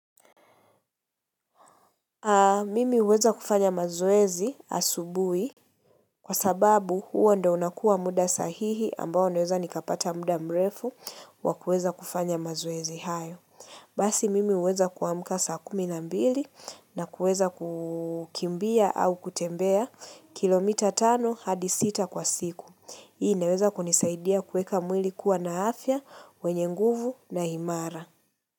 Mimi huweza kufanya mazoezi asubui kwa sababu huo ndio unakua muda sahihi ambao naweza nikapata muda mrefu wakuweza kufanya mazoezi hayo. Basi mimi huweza kuamka saa kumi na mbili na kuweza kukimbia au kutembea kilomita tano hadi sita kwa siku. Hii inaweza kunisaidia kuweka mwili kuwa na afya, wenye nguvu na imara.